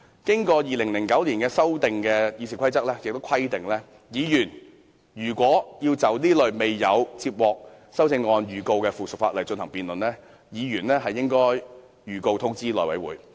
根據在2009年經修訂的《議事規則》的規定，議員如要就這類沒有修正案的附屬法例進行辯論，必須通知內務委員會。